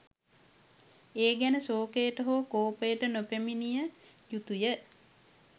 ඒ ගැන ශෝකයට හෝ කෝපයට නොපැමිණිය යුතු ය.